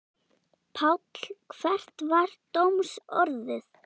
Páll, hvert var dómsorðið?